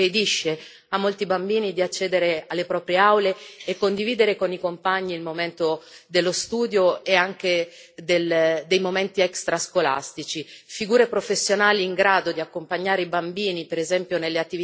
Nelle scuole le barriere architettoniche sono purtroppo la condizione che impedisce a molti bambini di accedere alle proprie aule e condividere con i compagni il momento dello studio e anche dei momenti extrascolastici.